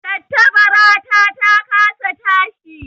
Tattabarata ta kasa tashi